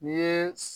N'i ye